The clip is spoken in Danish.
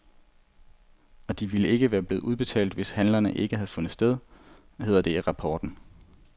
Og de ville ikke være blevet udbetalt, hvis handlerne ikke havde fundet sted, hedder det i rapporten.